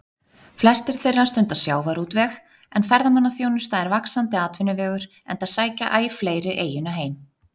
Flestir þeirra stunda sjávarútveg, en ferðamannaþjónusta er vaxandi atvinnuvegur enda sækja æ fleiri eyjuna heim.